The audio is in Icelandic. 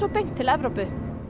til Evrópu